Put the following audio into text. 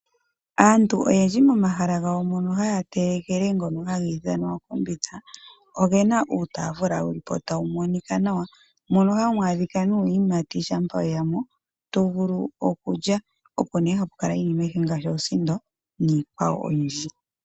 Aantu oyendji mo mahala gawo mono haya telekele ngono haga ithanwa ookombitha ogena uutafula wulipo tawu monika nawa mono hamu adhika nuuyimati shampa weya mo to vulu okulya opo ne hapu kala iinima ayihe ngaashi oosindo niikwawo oyindji.